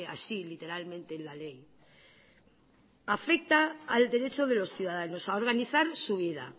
así literalmente en la ley afecta al derecho de los ciudadanos a organizar su vida